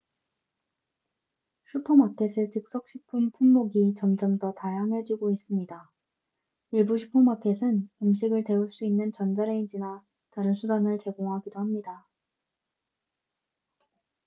슈퍼마켓의 즉석식품 품목이 점점 더 다양해지고 있습니다 일부 슈퍼마켓은 음식을 데울 수 있는 전자레인지나 다른 수단을 제공하기도 합니다